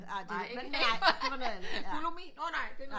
Nej det var noget andet